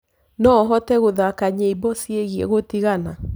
noũhote gũthaka nyĩmbo ciĩgie gutigana